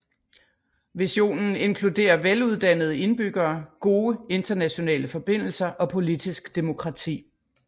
Visionen inkluderer veluddannede indbyggere gode internationale forbindelser og politisk demokrati